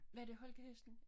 Var det holkahesten?